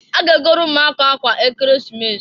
A ga-egolu umuaka akwa Ekeresimesi.